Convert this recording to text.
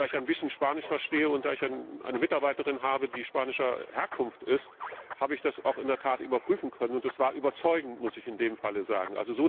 Da ich ein bisschen Spanisch verstehe und eine Mitarbeiterin habe, die spanischer Herkunft ist, habe ich das auch in der Tat überprüfen können. Und es war überzeugend, muss ich in dem Fall sagen.